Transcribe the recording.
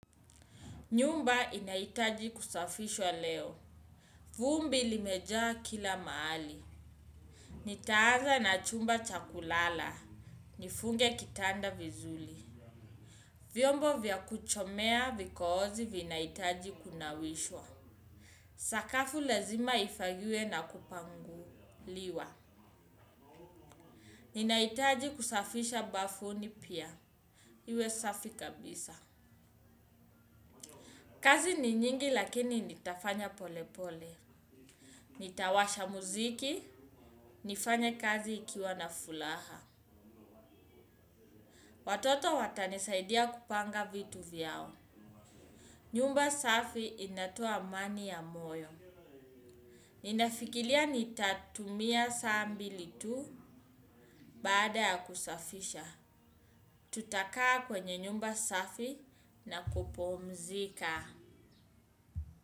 Nyumba inahitaji kusafishwa leo. Vumbi limejaa kila mahali. Nitaanza na chumba cha kulala. Nifunge kitanda vizuli. Vyombo vya kuchomea vikohozi vinahitaji kunawishwa. Sakafu lazima ifagiwe na kupanguliwa. Ninahitaji kusafisha bafuni pia. Iwe safi kabisa. Kazi ni nyingi lakini nitafanya pole pole. Nitawasha muziki, nifanya kazi nikiwa na furaha. Watoto watanisaidia kupanga vitu vyao. Nyumba safi inatoa amani ya moyo. Ninafikiria nitatumia saa mbili tu baada ya kusafisha. Tutakaa kwenye nyumba safi na kupumzika.